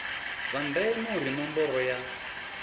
zwa ndeme uri ṋomboro ya